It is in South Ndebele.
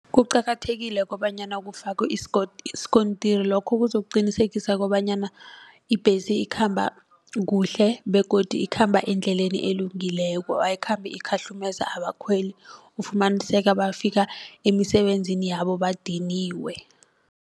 Kuqakathekile kobanyana kufakwe isikontiri lokho kuzokuqinisekisa kobanyana ibhesi ikhamba kuhle begodu ikhamba endleleni elungileko ayikhambi ikhahlumeza abakhweli ufumaniseka bafika emisebenzini yabo badiniwe.